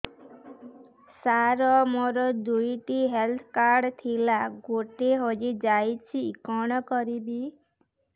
ସାର ମୋର ଦୁଇ ଟି ହେଲ୍ଥ କାର୍ଡ ଥିଲା ଗୋଟେ ହଜିଯାଇଛି କଣ କରିବି